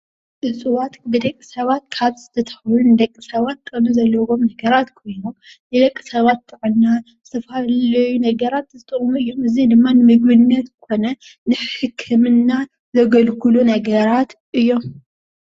እፅዎት ብደቂሰባት ካብ ዝተተኸሉ ንደቅሰባት ዝጠቅሙ ኾይኖም ንደቅሰባት ጥዕና ፅላል ኸይኖም ዘገልግሉ እዮሞ።